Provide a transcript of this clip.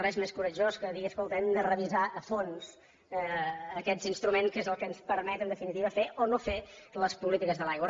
res més coratjós que dir escolta hem de revisar a fons aquest instrument que és el que ens permet en definitiva fer o no fer les polítiques de l’aigua